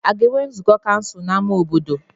A ga-enwe nzukọ kansụl n'ámá obodo?